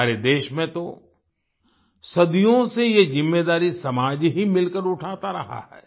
हमारे देश में तो सदियों से ये ज़िम्मेदारी समाज ही मिलकर उठाता रहा है